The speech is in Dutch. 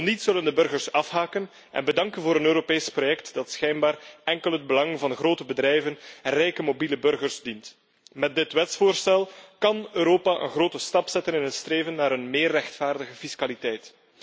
Zo niet, zullen de burgers afhaken en bedanken voor een Europees project dat schijnbaar enkel het belang van de grote bedrijven en rijke mobiele burgers dient. Met dit wetsvoorstel kan Europa een grote stap zetten in het streven naar een meer rechtvaardige fiscaliteit.